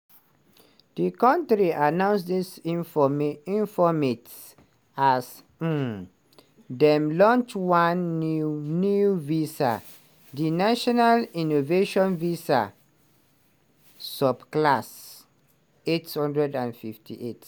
di kontri announce disinformate informate as um dem launch one new new visa - di national innovation visa (subclass 858).